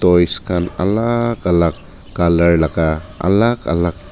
toys khan alag alag colour laga alag alag--